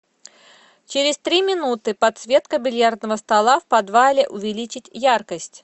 через три минуты подсветка бильярдного стола в подвале увеличить яркость